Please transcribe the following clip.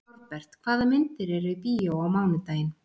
Norbert, hvaða myndir eru í bíó á mánudaginn?